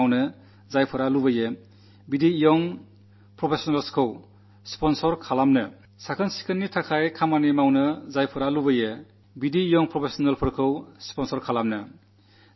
സ്വച്ഛതയ്ക്കുവേണ്ടി പ്രവർത്തിക്കാനാഗ്രഹിക്കുന്നവര് യുവ പ്രൊഫഷണലുകളെ സ്പോൺസർ ചെയ്യുക